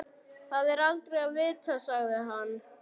Það er aldrei að vita sagði hann.